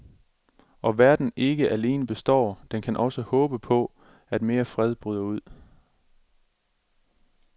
Og verden ikke alene består, den kan også håbe på, at mere fred bryder ud.